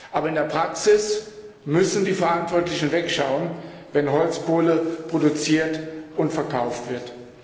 Aber in der Praxis müssen die Verantwortlichen wegschauen, wenn Holzkohle produziert und verkauft wird.